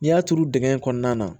N'i y'a turu dingɛ in kɔnɔna na